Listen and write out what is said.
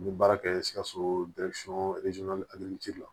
N bɛ baara kɛ sikaso la